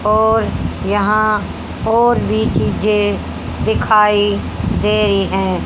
और यहां और भी चीजे दिखाई दे रही है।